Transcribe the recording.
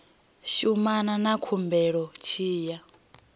shumana na khumbelo tshi ya